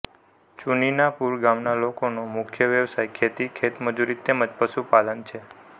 ચુનીનાપુરા ગામના લોકોનો મુખ્ય વ્યવસાય ખેતી ખેતમજૂરી તેમ જ પશુપાલન છે